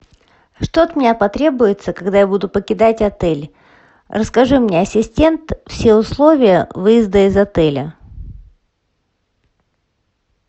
что от меня потребуется когда я буду покидать отель расскажи мне ассистент все условия выезда из отеля